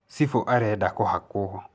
Cibũ arenda kũhakwũ